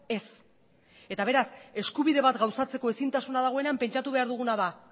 ez eta beraz eskubide bat gauzatzeko ezintasuna dagoenean pentsatu behar duguna da